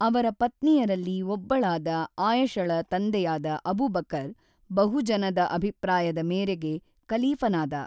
ಅವರ ಪತ್ನಿಯರಲ್ಲಿ ಒಬ್ಬಳಾದ ಆಯಷಳ ತಂದೆಯಾದ ಅಬುಬಕರ್ ಬಹು ಜನದ ಅಭಿಪ್ರಾಯದ ಮೇರೆಗೆ ಕಲೀಫನಾದ.